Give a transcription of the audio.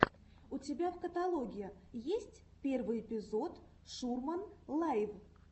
у тебя в каталоге есть первый эпизод шурман лайв